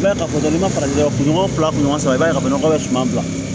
I b'a ye ka fɔ n'i ma farati kunɲɔgɔn fila ɲɔgɔna i b'a ye ka fɔ nɔgɔ ka suma bila